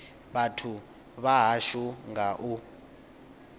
vhathu vha hashu nga u